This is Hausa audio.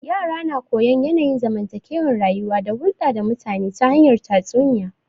Yara na koyon yanayin zamantake rayuwa da hulda da mutane ta hanyar tatsuniya